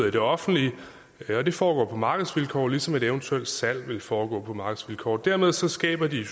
i det offentlige det foregår på markedsvilkår ligesom et eventuelt salg ville foregå på markedsvilkår dermed skaber det